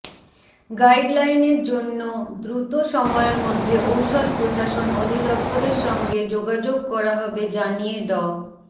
গাইডলাইনের জন্য দ্রুত সময়ের মধ্যে ঔষধ প্রশাসন অধিদপ্তরের সঙ্গে যোগাযোগ করা হবে জানিয়ে ড